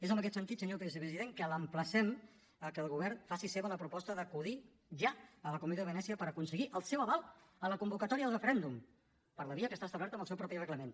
és en aquest sentit senyor vicepresident que l’emplacem a que el govern faci seva la proposta d’acudir ja a la comissió de venècia per aconseguir el seu aval a la convocatòria del referèndum per la via que està establerta en el seu propi reglament